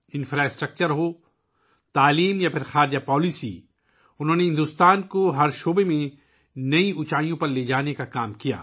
بنیادی ڈھانچہ ہو، تعلیم ہو یا خارجہ پالیسی، انہوں نے ہر میدان میں بھارت کو نئی بلندیوں پر لے جانے کا کام کیا